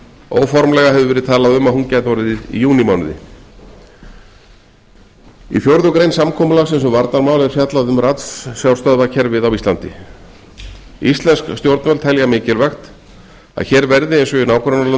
óformlega hefur verið talað um að hún gæti orðið í júní í fjórðu grein samkomulagsins um varnarmál er fjallað um ratsjárstöðvakerfið á íslandi stjórnvöld telja mikilvægt er að hér verði eins og